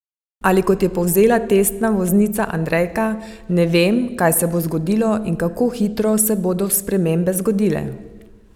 Ali kot je povzela testna voznica Andrejka: "Ne vem, kaj se bo zgodilo in kako hitro se bodo spremembe zgodile.